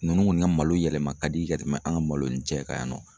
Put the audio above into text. Nunnu kɔni ka malo yɛlɛma ka di ka tɛmɛ an ka malo ni jɛ kan yan nɔ.